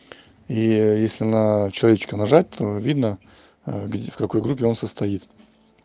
и если на человечка нажать то видно где в какой группе он состоит